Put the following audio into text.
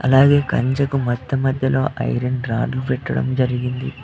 అలాగే కంచకు మట్టి మధ్యలో ఐరన్ రాడ్ పెట్టడం జరిగింది.